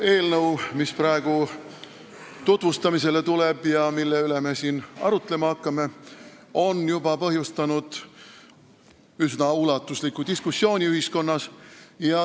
Eelnõu, mis praegu tutvustamisele tuleb ja mille üle me siin arutlema hakkame, on juba põhjustanud üsna ulatusliku diskussiooni ühiskonnas.